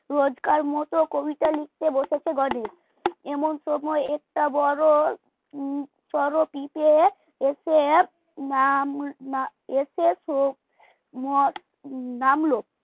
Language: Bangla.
রোজকার মতো কবিতা লিখতে বসেছে গণেশ এমন সময় একটা বড় হম সরো পিপে এসে নাম এসে নামল